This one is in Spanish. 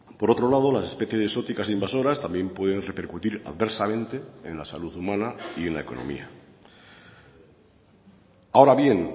por otro lado las especies exóticas invasoras también pueden repercutir adversamente en la salud humana y en la economía ahora bien